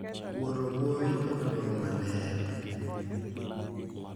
Wuoro, Wuowi, kod Roho Maler.